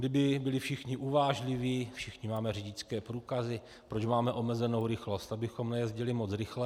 Kdyby byli všichni uvážliví, všichni máme řidičské průkazy, proč máme omezenou rychlost - abychom nejezdili moc rychle.